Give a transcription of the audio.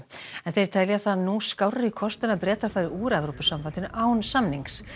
en þeir telja það nú skárri kost en að Bretar fari úr Evrópusambandinu án samnings